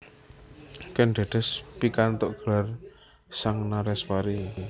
Kèn Dèdès pikantuk gelar Sang Nareswari